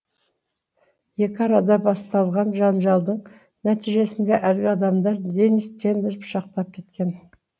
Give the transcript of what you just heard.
екі арада басталған жанжалдың нәтижесінде әлгі адамдар денис тенді пышақтап кеткен